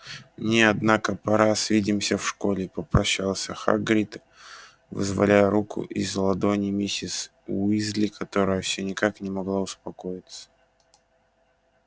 мне однако пора свидимся в школе попрощался хагрид вызволяя руку из ладоней миссис уизли которая всё никак не могла успокоиться